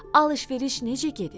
Alış-veriş necə gedir?